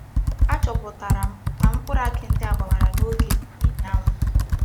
Achoputara m na mkpuru aki ndi a gbawara n'oge n'ihi anwu.